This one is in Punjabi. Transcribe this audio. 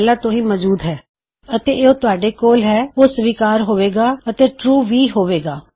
ਅਗਰ ਸਿਰਫ ਯੂਜ਼ਰਨੇਮ ਅੰਦਰ ਹੋਵੇ ਗਾ ਤਾਂ ਉਹ ਵੀ ਐਕਸੈਪਟੇਬਲ ਹੋਵੇਗਾ ਅਤੇ ਉਹ ਟਰੂ ਵੀ ਹੋਵੇਗਾ